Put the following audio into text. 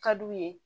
Ka d'u ye